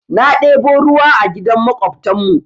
Na ɗebo ruwa a gidan maƙwabtan mu.